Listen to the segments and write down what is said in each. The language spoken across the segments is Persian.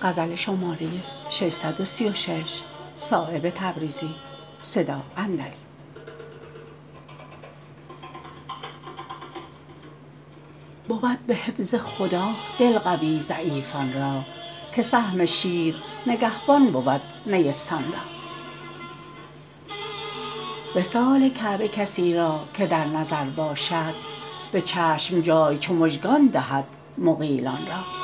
بود به حفظ خدا دل قوی ضعیفان را که سهم شیر نگهبان بود نیستان را وصال کعبه کسی را که در نظر باشد به چشم جای چو مژگان دهد مغیلان را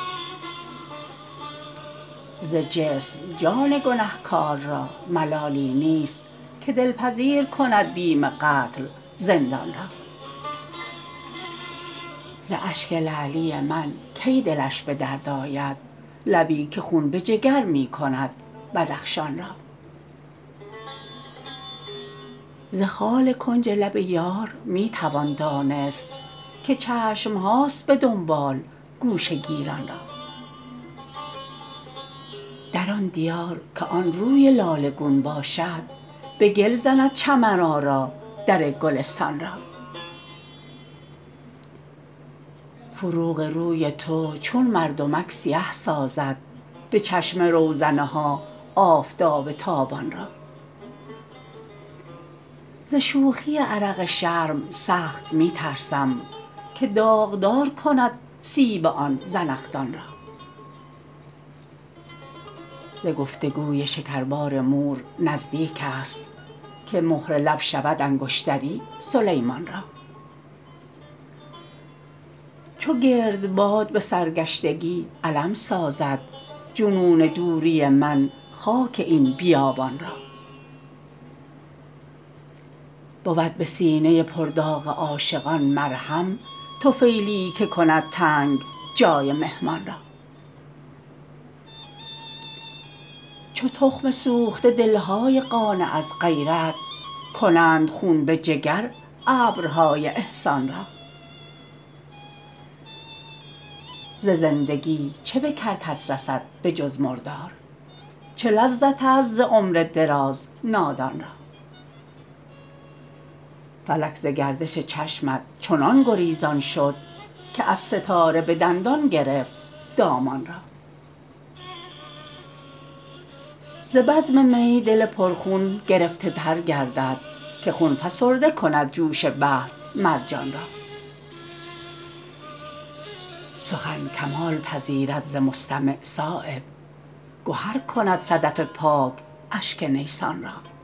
ز جسم جان گنهکار را ملالی نیست که دلپذیر کند بیم قتل زندان را ز اشک لعلی من کی دلش به درد آید لبی که خون به جگر می کند بدخشان را ز خال کنج لب یار می توان دانست که چشم هاست به دنبال گوشه گیران را در آن دیار که آن روی لاله گون باشد به گل زند چمن آرا در گلستان را فروغ روی تو چون مردمک سیه سازد به چشم روزنه ها آفتاب تابان را ز شوخی عرق شرم سخت می ترسم که داغدار کند سیب آن زنخدان را ز گفتگوی شکربار مور نزدیک است که مهر لب شود انگشتری سلیمان را چو گردباد به سرگشتگی علم سازد جنون دوری من خاک این بیابان را بود به سینه پر داغ عاشقان مرهم طفیلیی که کند تنگ جای مهمان را چو تخم سوخته دل های قانع از غیرت کنند خون به جگر ابرهای احسان را ز زندگی چه به کرکس رسد به جز مردار چه لذت است ز عمر دراز نادان را فلک ز گردش چشمت چنان گریزان شد که از ستاره به دندان گرفت دامان را ز بزم می دل پر خون گرفته تر گردد که خون فسرده کند جوش بحر مرجان را سخن کمال پذیرد ز مستمع صایب گهر کند صدف پاک اشک نیسان را